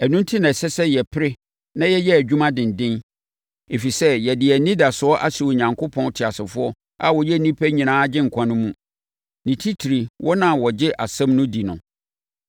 Ɛno enti na ɛsɛ sɛ yɛpere na yɛyɛ adwuma denden, ɛfiri sɛ, yɛde yɛn anidasoɔ ahyɛ Onyankopɔn teasefoɔ a ɔyɛ nnipa nyinaa Agyenkwa no mu, ne titire wɔn a wɔgye asɛm no di no.